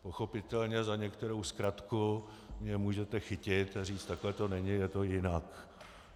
Pochopitelně za některou zkratku mě můžete chytit a říct takhle to není, je to jinak.